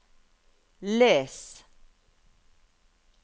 les